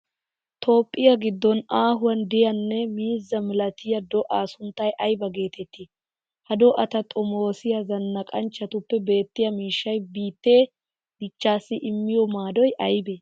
Toophphiya giddon aahuwan de'iyanne miizzaa malatiya do'aa sunttay aybaa geetettii? Ha do'ata xomoosiya zannaqanchchatuppe beettiya miishshay biittee dichchaassi immiyo maadoy aybee?